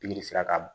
Pikiri sera ka